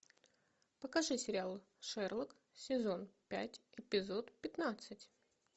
покажи сериал шерлок сезон пять эпизод пятнадцать